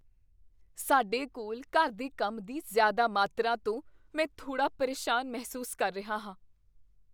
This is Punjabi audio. ਸਾਡੇ ਕੋਲ ਘਰ ਦੇ ਕੰਮ ਦੀ ਜ਼ਿਆਦਾ ਮਾਤਰਾ ਤੋਂ ਮੈਂ ਥੋੜ੍ਹਾ ਪਰੇਸ਼ਾਨ ਮਹਿਸੂਸ ਕਰ ਰਿਹਾ ਹਾਂ।